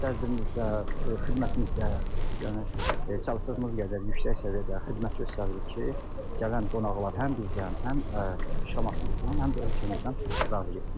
Qiymətlərimiz də, xidmətimiz də, yəni çalışdığımız qədər yüksək səviyyədə xidmət göstəririk ki, gələn qonaqlar həm bizdən, həm Şamaxımızdan, həm də ölkəmizdən razı getsinlər.